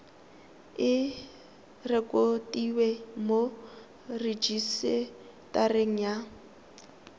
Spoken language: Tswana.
e rekotiwe mo rejisetareng ya